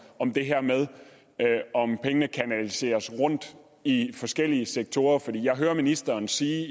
om det her med at pengene kanaliseres rundt i forskellige sektorer for det jeg hører ministeren sige